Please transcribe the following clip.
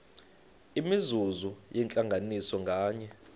imizuzu yentlanganiso nganye